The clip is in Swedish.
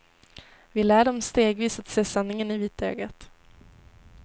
Vi lär dem stegvis att se sanningen i vitögat.